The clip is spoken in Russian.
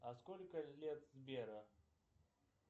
а сколько лет сбера